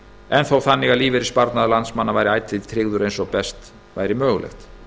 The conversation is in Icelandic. en þó þannig að lífeyrissparnaður landsmanna væri ætíð tryggður eins og best væri mögulegt